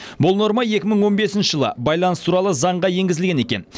бұл норма екі мың он бесінші жылы байланыс туралы заңға енгізілген екен